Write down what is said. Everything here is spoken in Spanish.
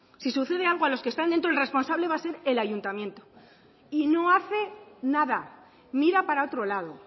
si sucede algo a los que están dentro el responsable va a ser el ayuntamiento y no hace nada mira para otro lado